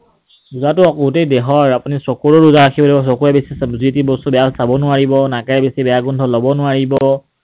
ৰোজাটো গোটেই দেহৰ, আপুনি চকুৰো ৰোজা ৰাখিব লাগিব, চকুৰে বেছি যি তি বস্তু বেয়া চাব নোৱাৰিব, নাকেৰে বেছি বেয়া গোন্ধ লব নোৱাৰিব।